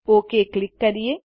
okay click કરીએ